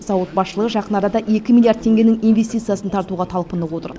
зауыт басшылығы жақын арада екі миллиард теңгенің инвестициясын тартуға талпынып отыр